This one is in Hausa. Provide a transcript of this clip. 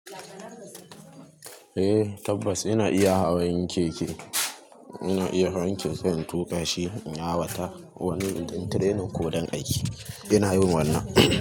Eh tabbas ina iya hawan keke. Ina iya hawan keke in tuƙa shi, in hawa ta wani ɗan training ko don aiki. Ina yin wannan.